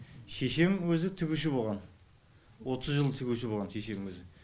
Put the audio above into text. шешем өзі тігуші болған отыз жыл тігуші болған шешем өзі